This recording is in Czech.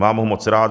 Mám ho moc rád.